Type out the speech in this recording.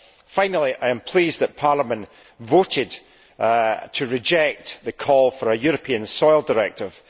Finally, I am pleased that Parliament voted to reject the call for a European soil directive.